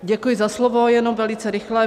Děkuji za slovo, jenom velice rychle.